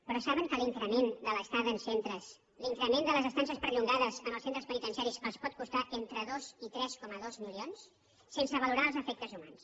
però saben que l’increment de les estades perllongades en els centres penitenciaris els pot costar entre dos i tres coma dos milions sense valorar els efectes humans